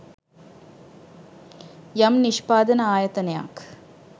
යම් නිෂ්පාදන ආයතනයක්